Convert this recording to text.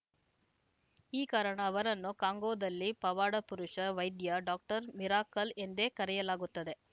ಈ ಕಾರಣ ಅವರನ್ನು ಕಾಂಗೋದಲ್ಲಿ ಪವಾಡಪುರುಷ ವೈದ್ಯ ಡಾಕ್ಟರ್‌ ಮಿರಾಕಲ್‌ ಎಂದೇ ಕರೆಯಲಾಗುತ್ತದೆ